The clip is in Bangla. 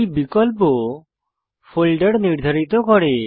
এই বিকল্প ফোল্ডার নির্ধারিত করে